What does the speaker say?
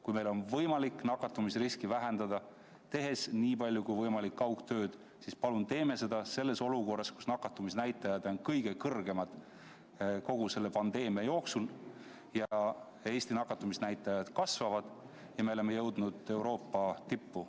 Kui meil on võimalik nakatumisriski vähendada, tehes nii palju kui võimalik kaugtööd, siis palun teeme seda selles olukorras, kus nakatumisnäitajad on kõige kõrgemad kogu selle pandeemia jooksul, kus Eesti nakatumisnäitajad kasvavad ja me paraku oleme jõudnud Euroopa tippu.